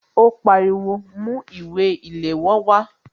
Ó pariwo "Mú ìwé ìléwọ́ wá"